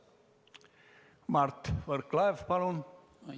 Mart Võrklaev, palun!